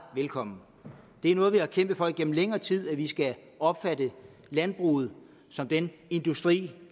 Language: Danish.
velkommen det er noget vi har kæmpet for igennem længere tid nemlig at vi skal opfatte landbruget som den industri